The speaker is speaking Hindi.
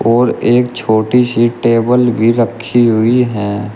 और एक छोटी सी टेबल भी रखी हुई है।